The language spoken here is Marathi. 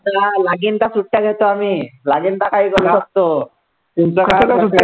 लागीन त्या सुट्ट्या घेतो आम्ही लागीन तेव्हा काहीही करू शकतो.